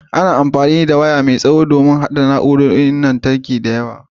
Ana amfani da waya mai tsawo don haɗa na'urorin lantarki da yawa.